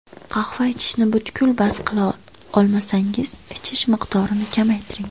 Qahva ichishni butkul bas qila olmasangiz, ichish miqdorini kamaytiring.